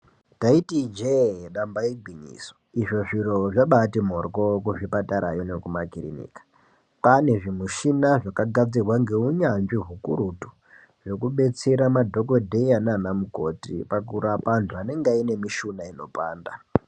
Ndaiti ijee damba igwinyiso izvo zviro zvabati mborwo kuzvipatarayo nekumakiriniki kwane zvimushina zvakagadzirwa ngeunyanzvi ukurutu zvekudetsera madhokoteya nana mukoti pakurape vanhu vanenge vanemushuna inopanda.